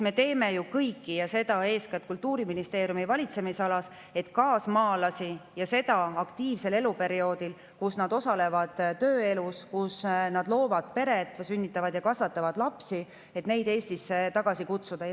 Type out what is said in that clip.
Me teeme ju kõik – seda eeskätt Kultuuriministeeriumi valitsemisalas –, et kaasmaalasi aktiivsel eluperioodil, kui nad osalevad tööelus, loovad pere, sünnitavad ja kasvatavad lapsi, Eestisse tagasi kutsuda.